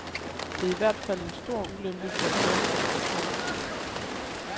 Det er i hvert fald en stor ulempe for et land at gå forrest.